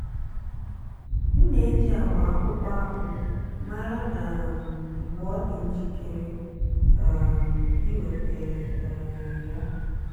m na-eji agba akwụkwọ akpu mara um mgbe ọ dị njikere um iweta um ya.